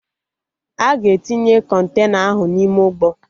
Aga etinye Kọntena ahụ n'ime ụgbọ